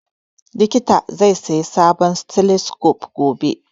Likitan zai saya sabon stethoscope gobe